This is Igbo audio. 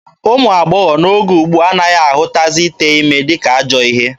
Ụmụ agbọghọ n'oge ugbua anaghị ahụtazi ite ime dịka ajọọ ihe.